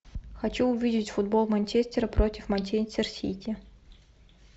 хочу увидеть футбол манчестера против манчестер сити